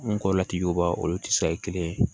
N kɔrɔla ti jo ba olu te se kelen ye